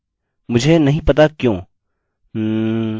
hmm! अब आपको पता चलता है